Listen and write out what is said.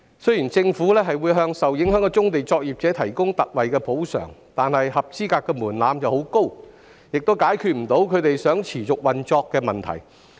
雖然政府會為受影響的棕地作業者提供特惠補償，但申領特惠補償門檻過高，亦未能解決他們持續運作的問題。